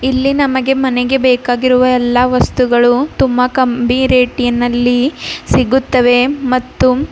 ಇಲ್ಲಿ ನಮಗೆ ಮನೆಗೆ ಬೇಕಾಗಿರುವ ಎಲ್ಲಾ ವಸ್ತುಗಳು ತುಂಬಾ ಕಂಬಿ ರೇಟಿ ನಲ್ಲಿ ಸಿಗುತ್ತವೆ ಮತ್ತು--